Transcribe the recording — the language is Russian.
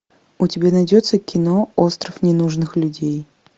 у тебя найдется кино остров ненужных людей